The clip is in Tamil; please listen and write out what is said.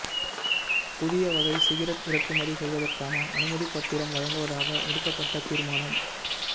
புதிய வகை சிகரட் இறக்குமதி செய்வதற்கான அனுமதிப்பத்திரம் வழங்குவதாக எடுக்கப்பட்ட தீர்மானம்